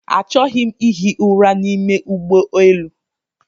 Achọghị m ihi ụra n'ime ụgbọelu